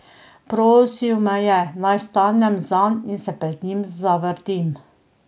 Prosil me je, naj vstanem zanj in se pred njim zavrtim.